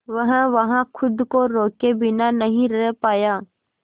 वह वहां खुद को रोके बिना नहीं रह पाया